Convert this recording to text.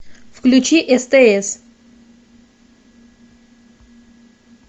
включи стс